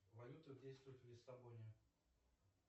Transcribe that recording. валюта действует в лиссабоне